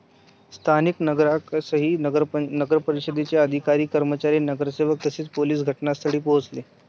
स्थानिक नागरिकांसह नगरपरिषदेचे अधिकारी, कर्मचारी, नगरसेवक तसेच पोलीस घटनास्थळी पोहोचले.